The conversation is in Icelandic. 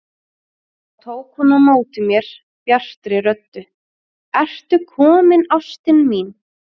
Þá tók hún á móti mér bjartri röddu: Ertu kominn ástin mín!